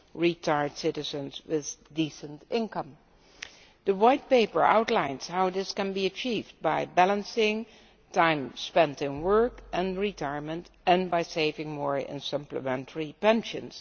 retired citizens with a decent income. The White Paper outlines how this can be achieved by balancing time spent in work and retirement and by saving more in supplementary pensions.